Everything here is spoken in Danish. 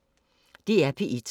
DR P1